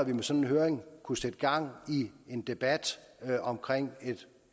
en sådan høring kunne sætte gang i en debat om et